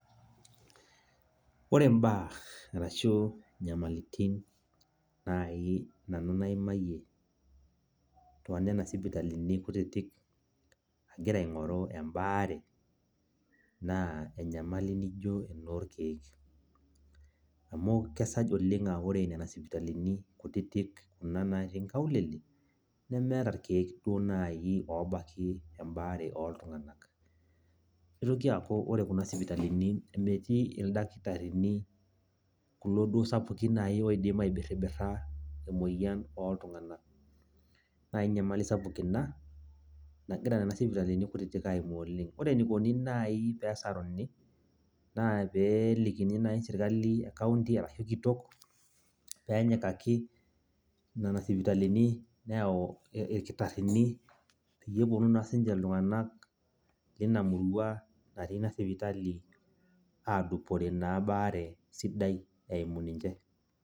ore mbaa, arashu inyamalitin naai nanu naimayie, too nena sipitalimni kutitik agira aingoru nanu ebaare. naa enyamali naijo enoorkeek amu kesaj oleng aaa ore nena sipitalini kutitik, kuna natii nkaulele nemeeta irkeek duoo naaji obaki ebaare ooltunganak. nitoki aaku ore kuna sipitalini natii ildakitarini looltunganak kulo duoo sapukin naaji oidim aibiribira emoyian oo ltunganak naa ae nyamali sapuk ina nagira nena sipitalini sapukin aaimaa oleng. ore enikoni naai pee esaruni. naa pee elikini naai sipitali ekaunti, arashu kitok pee enyikaki nena sipitalini neyau irkitarini pee epuonu naa sii ninche iltungan leina murua adupore ebaare eimu ninche.